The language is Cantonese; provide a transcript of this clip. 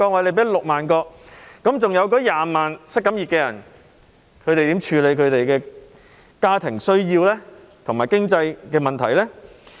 那麼20多萬名失業人士要如何處理他們的家庭需要，如何面對經濟問題呢？